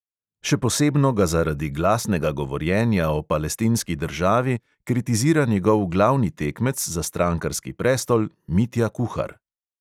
Še posebno ga zaradi glasnega govorjenja o palestinski državi kritizira njegov glavni tekmec za strankarski prestol, mitja kuhar.